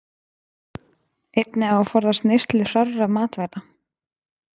Einnig á að forðast neyslu hrárra matvæla.